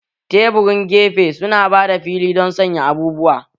Taburin gefe su na ba da fili don sanya abubuwa